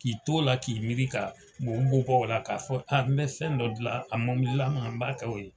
K'i t'o la k'i miiri ka bɔ o la k'a fɔ n mɛ fɛn dɔ gilan a mobililama n m'a kɛ o ye.